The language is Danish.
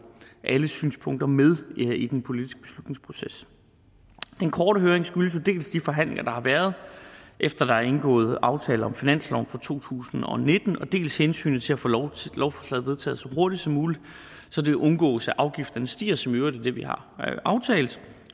alle synspunkter med i den politiske beslutningsproces den korte høring skyldes jo dels de forhandlinger der har været efter der er indgået aftale om finansloven for to tusind og nitten dels hensynet til at få lovforslaget vedtaget så hurtigt som muligt så det undgås at afgifterne stiger som i øvrigt er det vi har aftalt